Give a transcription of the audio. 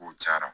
Kow cayara